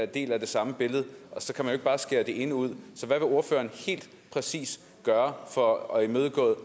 del af det samme billede og så kan man jo ikke bare skære det ene ud så hvad vil ordføreren helt præcist gøre for at imødegå